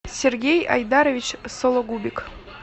сергей айдарович сологубик